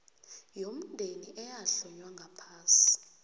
yomndeni eyahlonywa ngaphasi